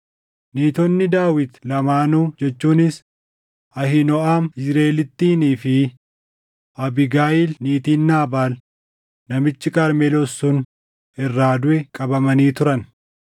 Niitonni Daawit lamaanuu jechuunis Ahiinooʼam Yizriʼeelittiinii fi Abiigayiil niitiin Naabaal namichi Qarmeloos sun irraa duʼe qabamanii turan.